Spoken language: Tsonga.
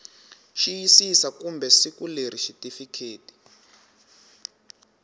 xiyisisa kumbe siku leri xitifiketi